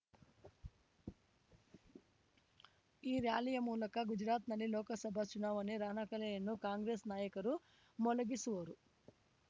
ಈ ಱ್ಯಾಲಿಯ ಮೂಲಕ ಗುಜರಾತ್‌ನಲ್ಲಿ ಲೋಕಸಭಾ ಚುನಾವಣೆ ರಣಕಹಳೆಯನ್ನು ಕಾಂಗ್ರೆಸ್ ನಾಯಕರು ಮೊಳಗಿಸುವರು